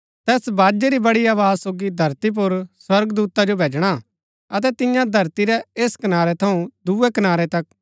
तैस बाजै री बड़ी आवाज सोगी धरती पुर स्वर्गदूता जो भैजणा अतै तियां धरती रै ऐस कनारै थऊँ दूये कनारै तक पुरै संसार रै चुनुरै मणु जो इकट्ठा करना